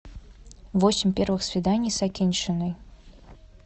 восемь первых свиданий с акиньшиной